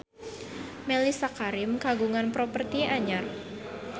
Mellisa Karim kagungan properti anyar